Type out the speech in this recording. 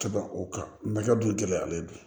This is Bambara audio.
Ka ban o kan mɛ ka dun gɛlɛyalen don